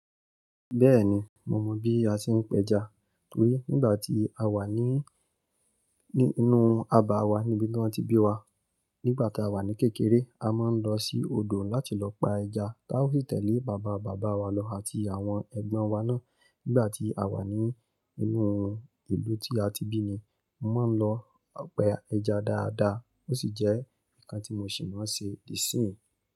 Bẹ́ẹ̀ni, mo mọ bí a ṣe ń pẹja. Torí nígbà tí a wà ní, ní inú abà wa níbi tí wọ́n ti bí wa. Nígbà ta wà ní kékeré, a máa ń lọ sí odò láti lọ pa ẹja, táa ó sì tẹ̀lé bàbá, bàbá wa lọ àti àwọn ẹ̀gbọ́n wa náà. Nígbà tí a wà ní inú ìlú tí a ti bí ni, mo máa ń lọ pa ẹja dáadáa. Ó sì jẹ́ ǹkan tí mo sì máa ń ṣe di síyìn.